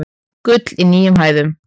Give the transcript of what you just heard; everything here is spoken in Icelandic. Gull í nýjum hæðum